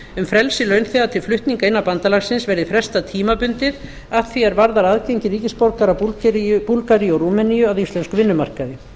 um frelsi launþega til flutninga innan bandalagsins verði frestað tímabundið að því er varðar aðgengi ríkisborgara búlgaríu og rúmeníu að íslenskum vinnumarkaði